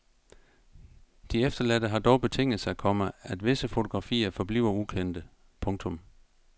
De efterladte har dog betinget sig, komma at visse fotografier forbliver ukendte. punktum